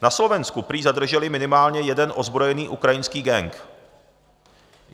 Na Slovensku prý zadrželi minimálně jeden ozbrojený ukrajinský gang.